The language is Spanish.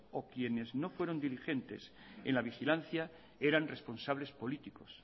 o quienes no fueron diligentes en la vigilancia eran responsables políticos